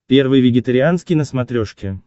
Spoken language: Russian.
первый вегетарианский на смотрешке